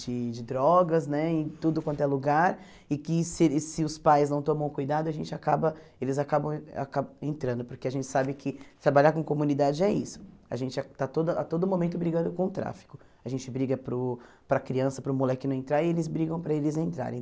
de de drogas né em tudo quanto é lugar e que se se os pais não tomam cuidado a gente acaba eles acabam acabam entrando porque a gente sabe que trabalhar com comunidade é isso a gente está a toda a todo momento brigando com o tráfico a gente briga para o para a criança, para o moleque não entrar e eles brigam para eles entrarem